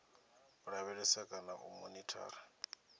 u lavhelesa kana u monithara